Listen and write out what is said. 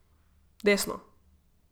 Desno.